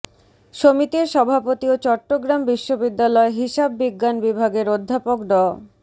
সমিতির সভাপতি ও চট্টগ্রাম বিশ্ববিদ্যালয় হিসাব বিজ্ঞান বিভাগের অধ্যাপক ড